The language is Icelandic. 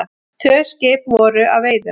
Tvö skip voru að veiðum.